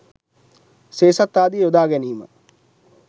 සේසත් ආදිය යොදා ගැනීම